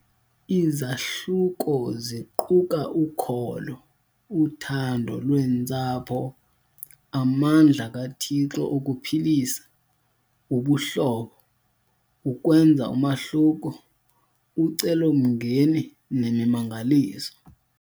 Izahluko ziquka Ukholo, Uthando Lwentsapho, Amandla KaThixo Okuphilisa, Ubuhlobo, Ukwenza Umahluko, Ucelomngeni Nemimangaliso.